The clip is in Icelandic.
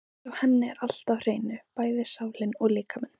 Hjá henni er allt á hreinu, bæði sálin og líkaminn.